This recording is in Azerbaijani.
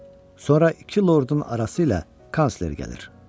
Sonra iki lordun arası ilə kansler gəlir.